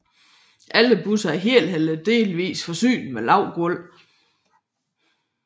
Alle busser er helt eller delvist forsynet med lavt gulv